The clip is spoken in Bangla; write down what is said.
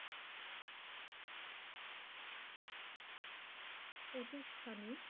প্রতিষ্ঠানে